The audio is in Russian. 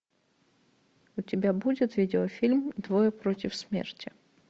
у тебя будет видеофильм двое против смерти